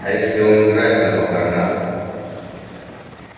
а если он играет на похоронах